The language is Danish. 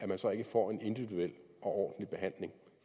man så ikke få en individuel og ordentlig behandling